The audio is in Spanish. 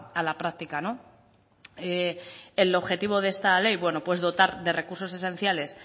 a la práctica el objetivo de esta ley dotar de recursos esenciales